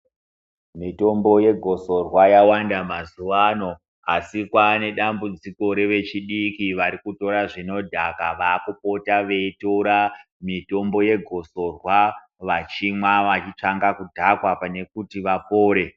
Mitombo yegosorwa yawanda mazuwano, Asi kwane dambudziko revechidiki vari kutora zvinodhaka vakupota veitora mitombo yegosorwa vachimwa vachitsvanga kudhakwa pane kutj vapore.